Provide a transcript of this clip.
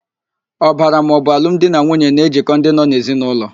Ọbara maọbụ alụmdinanwuye na-ejikọ ndị nọ n'ezinaụlọ.